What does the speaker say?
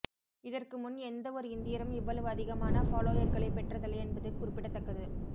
இதற்கு முன் எந்த ஒரு இந்தியரும் இவ்வளவு அதிகமான ஃபாலோயர்களை பெற்றதில்லை என்பது குறிப்பிடத்தக்கது